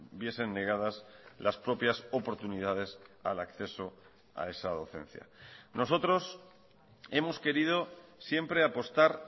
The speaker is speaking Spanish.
viesen negadas las propias oportunidades al acceso a esa docencia nosotros hemos querido siempre apostar